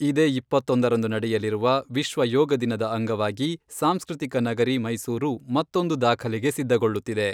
ಇದೇ ಇಪ್ಪತ್ತೊಂದರಂದು ನಡೆಯಲಿರುವ ವಿಶ್ವ ಯೋಗ ದಿನದ ಅಂಗವಾಗಿ, ಸಾಂಸ್ಕೃತಿಕ ನಗರಿ ಮೈಸೂರು ಮತ್ತೊಂದು ದಾಖಲೆಗೆ ಸಿದ್ಧಗೊಳ್ಳುತ್ತಿದೆ.